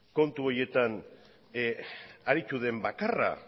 kontu horietan aritu den bakarra